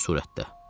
Könüllü surətdə.